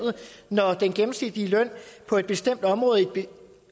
når den gennemsnitlige løn på et bestemt område og